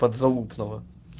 подзалупного